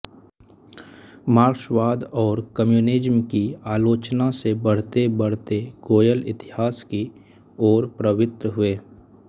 मार्क्सवाद और कम्युनिज्म की आलोचना से बढ़तेबढ़ते गोयल इतिहास की ओर प्रवृत्त हुए